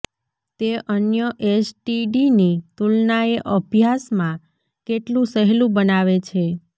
તે અન્ય એસટીડીની તુલનાએ અભ્યાસમાં કેટલું સહેલું બનાવે છે